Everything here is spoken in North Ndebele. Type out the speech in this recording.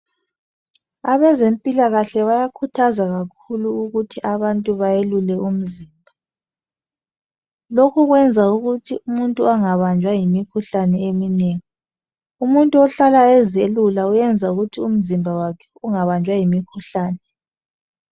Abezempilakahle bayakhuthazwa kakhulu ukuthi abantu bayelule umzimba .Lokhu kwenza ukuthi umuntu angabanjwa yimikhuhlane eminengi .Umuntu ohlala eziyelula uyenza ukuthi umzimba wakhe ungabanjwa yimikhuhlane.